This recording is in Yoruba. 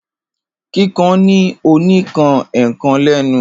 Kikan ni o ni kan ekan lenu.